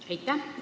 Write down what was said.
Aitäh!